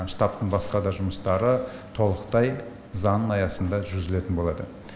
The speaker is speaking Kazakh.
штабтың басқада жұмыстары толықтай заң аясында жүргізілетін болады